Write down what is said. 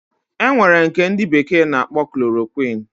Enwere nke ndi bekee na akpo chloroquine